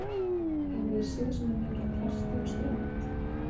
Hefurðu séð svona mikið af plasti á strönd?